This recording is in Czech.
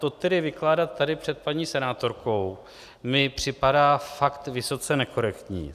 To tedy vykládat tady před paní senátorkou mně připadá fakt vysoce nekorektní.